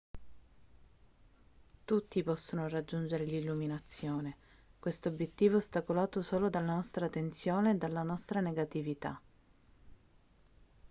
tutti possono raggiungere l'illuminazione questo obiettivo è ostacolato solo dalla nostra tensione e dalla nostra negatività